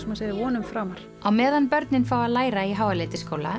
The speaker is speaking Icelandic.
maður segir vonum framar á meðan börnin fá að læra í